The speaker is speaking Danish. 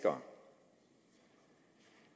nu er